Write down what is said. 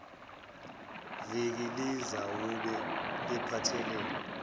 viki lizawube liphathelene